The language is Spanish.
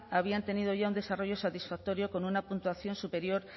habían tenido ya un desarrollo satisfactorio con una puntuación superior